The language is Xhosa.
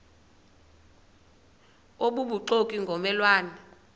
obubuxoki ngomme lwane